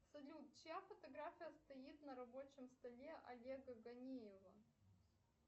салют чья фотография стоит на рабочем столе олега ганиева